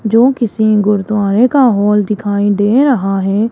जो किसी गुरुद्वारे का हॉल दिखाई दे रहा है।